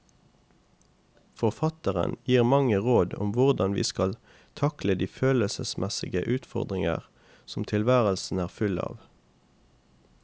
Forfatteren gir mange råd om hvordan vi skal takle de følelsesmessige utfordringer som tilværelsen er full av.